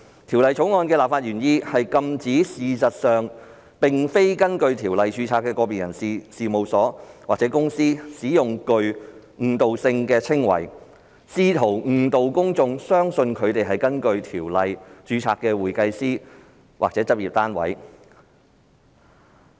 《條例草案》的立法原意是禁止事實上並非根據《條例》註冊的個別人士、事務所或公司使用具誤導性的稱謂，試圖誤導公眾相信他們是根據《條例》註冊的會計師或執業單位。